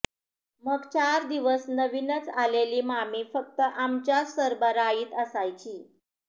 मग चार दिवस नविनच आलेली मामी फक्त आमच्याच सरबराईत असायची